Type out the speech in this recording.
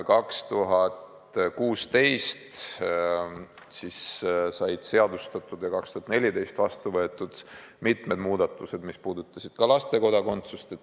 2016. aastal said seadustatud ja 2014. aastal vastu võetud mitmed muudatused, mis puudutasid ka laste kodakondsust.